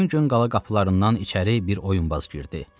Həmin gün qala qapılarından içəri bir oyunbaz girdi.